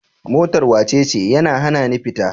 Motar wacece? yana hanani fita.